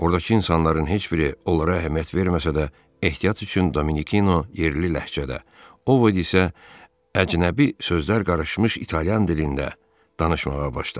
Ordakı insanların heç biri onlara əhəmiyyət verməsə də, ehtiyat üçün Dominikino yerli ləhcədə, Ovod isə əcnəbi sözlər qarışmış İtalyan dilində danışmağa başladı.